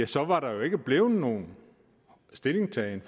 så var der ikke blevet nogen stillingtagen